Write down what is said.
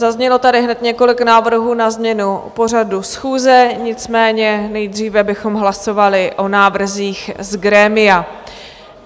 Zaznělo tady hned několik návrhů na změnu pořadu schůze, nicméně nejdříve bychom hlasovali o návrzích z grémia.